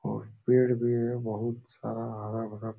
और पेड भी है बोहोत सारा हरा-भरा --